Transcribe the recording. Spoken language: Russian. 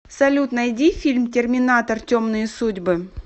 салют найди фильм терминатор темные судьбы